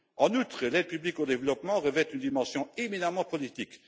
En outre, l'aide publique au développement revêt une dimension éminemment politique.